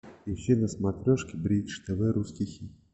включи на смотрешке бридж тв русский хит